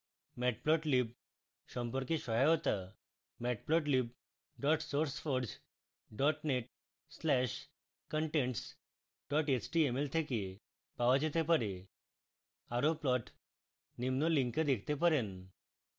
matplotlib সম্পর্কে সহায়তা matplotlib sourceforge net/contents html থেকে পাওয়া যেতে পারে